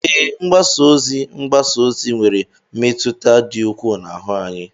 Ee, mgbasa ozi mgbasa ozi nwere mmetụta dị ukwuu n'ahụ anyị.